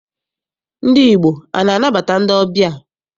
Ndị Igbo ana anabata ndị ọbịa?